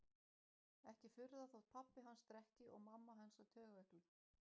Ekki furða þótt pabbi hans drekki og mamma hans sé taugaveikluð